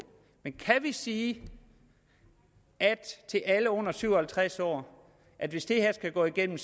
men kan vi sige til alle under syv og halvtreds år at hvis det her går igennem